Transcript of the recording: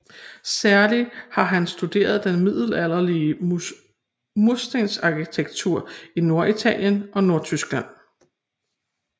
Særlig har han studeret den middelalderlige murstensarkitektur i Norditalien og Nordtyskland